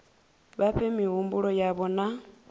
vha fhe mihumbulo yavho na